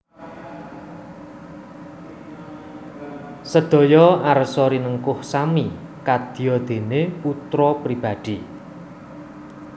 Sedaya arsa rinengkuh sami kadya dene putra pribadi